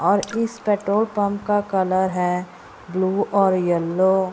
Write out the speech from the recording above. और इस petrol pump का कलर है ब्लू और येलो ।